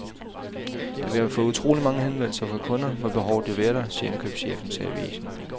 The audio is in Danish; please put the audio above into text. Da vi har fået utrolig mange henvendelser fra kunder, må behovet jo være der, siger indkøbschefen til avisen.